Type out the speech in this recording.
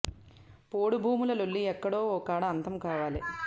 పోడు భూముల లొల్లి ఎక్కడో ఓ కాడ అంతం కావాలే